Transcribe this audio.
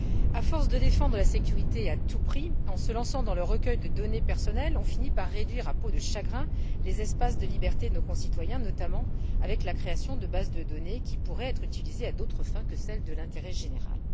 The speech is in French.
À force de défendre la sécurité à tout prix, en se lançant dans le recueil de données personnelles, on finit par réduire à peau de chagrin les espaces de liberté de nos concitoyens, notamment avec la création de bases de données qui pourraient être utilisées à d'autres fins que celles de l'intérêt général.